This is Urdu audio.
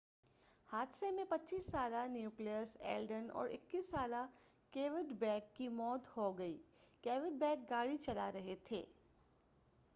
حادثہ میں 25 سالہ نیکولس ایلڈن اور 21 سالہ کیوڈ بیک کی موت ہوگئی کیوڈبیک گاڑی چلا رہے تھے